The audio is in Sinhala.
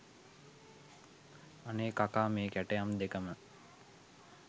අනේ කකා මේ කැටයම් දෙකම